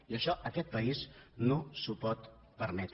i això aquest país no s’ho pot permetre